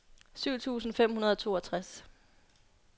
syv tusind fem hundrede og toogtres